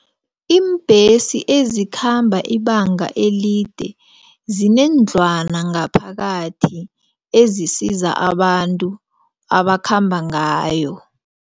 Iimbhesi ezikhamba ibanga elide zineendlwana ngaphakathi ezisiza abantu abakhamba ngayo.